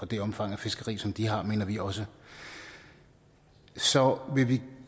det omfang af fiskeri som de har mener vi også så vil vi